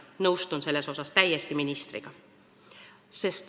Nõustun selles mõttes täiesti ministriga.